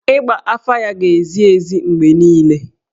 Ịgba afa ya ga-ezi ezi mgbe niile.